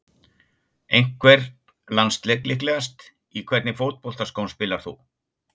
Einhvern landsleik líklegast Í hvernig fótboltaskóm spilar þú?